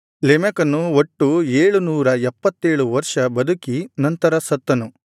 ಲೆಮೆಕನು ಒಟ್ಟು ಏಳುನೂರ ಎಪ್ಪತ್ತೇಳು ವರ್ಷ ಬದುಕಿ ನಂತರ ಸತ್ತನು